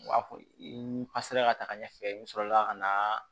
U b'a fɔ i ka se ka taga ɲɛfɛ n sɔrɔla ka na